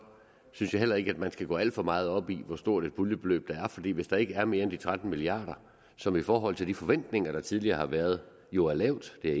synes jeg heller ikke at man skal gå alt for meget op i hvor stort et puljebeløb der er fordi hvis der ikke er mere end de tretten milliard kr som i forhold til de forventninger der tidligere har været jo er lavt det er